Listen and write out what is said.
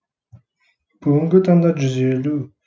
бүгінгі таңда жүз елу